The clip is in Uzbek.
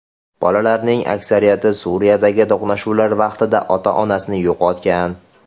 Bolalarning aksariyati Suriyadagi to‘qnashuvlar vaqtida ota-onasini yo‘qotgan.